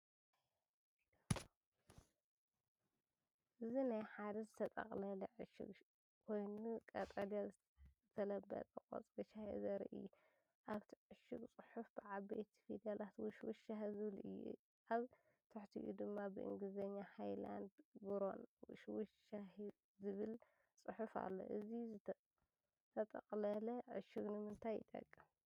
እዚናይ ሓደ ዝተጠቕለለ ዕሹግ ኮይኑ፡ ቀጠልያ ዝተለበጠ ቆጽሊ ሻይ ዘርኢ እዩ። ኣብቲ ዕሹግ ጽሑፍ ብዓበይቲ ፊደላት “ውሽ ዉሽ ሻሂ” ዝብል እዩ። ኣብ ትሕቲኡ ድማ ብእንግሊዝኛ “ሃይላንድ ግሮን ዉሽ ዉሽ ሻሂ” ዝብል ጽሑፍ ኣሎ። እዚ ዝተጠቅለለ ዕሹግ ንምንታይ ይጠቅም?